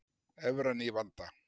Evran í vanda